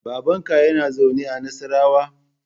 Babanka yana zaune a Nassarawa?